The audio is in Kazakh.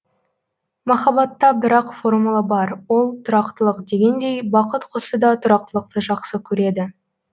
махаббатта бір ақ формула бар ол тұрақтылық дегендей бақыт құсы да тұрақтылықты жақсы көреді